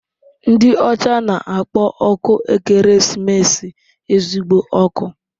Ndị ọcha na-akpọ ọkụ ekeresimesi "ezigbo ọkụ."